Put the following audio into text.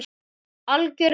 Algjör perla.